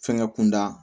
Fɛnkɛ kunda